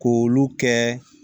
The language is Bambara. K'olu kɛ